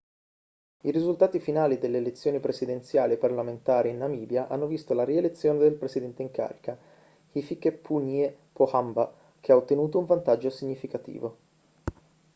i risultati finali delle elezioni presidenziali e parlamentari in namibia hanno visto la rielezione del presidente in carica hifikepunye pohamba che ha ottenuto un vantaggio significativo